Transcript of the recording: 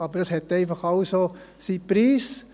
Aber es hat einfach alles auch seinen Preis.